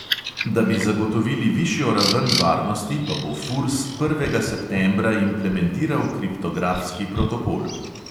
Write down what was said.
Da bi zagotovili višjo raven varnosti, pa bo furs prvega septembra implementiral kriptografski protokol.